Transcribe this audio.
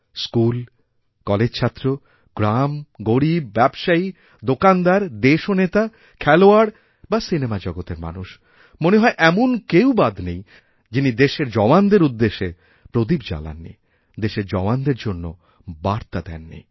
school কলেজছাত্র গ্রাম গরীব ব্যবসায়ী দোকানদার দেশনেতা খেলোয়াড় বা সিনেমা জগতের মানুষ মনে হয় এমন কেউ বাদ নেই যিনি দেশের জওয়ানদের উদ্দেশ্যে প্রদীপ জ্বালাননি দেশেরজওয়ানদের জন্য বার্তা দেননি